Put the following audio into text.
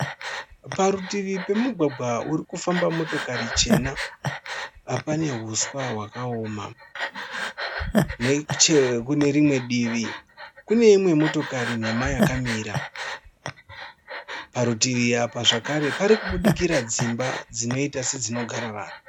Parutivi pemugwagwa urikufamba motokari chena pane huswa hwakaoma. Nechekune rimwe divi kune imwe motokari nhema yakamira. Parutivi apa zvakare parikubudikira dzimba dzinoita sedzinogara vanhu.